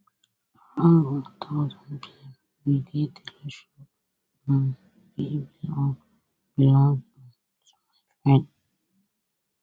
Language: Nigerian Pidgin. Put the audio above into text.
around one thousandpm we dey tailor shop um wey belong belong um to my friend